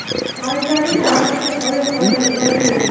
Malakali jarrohga qoyil qolmay iloj yo‘q.